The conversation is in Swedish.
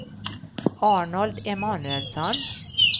Arnold Emanuelsson